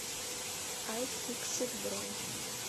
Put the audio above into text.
айфиксит бронь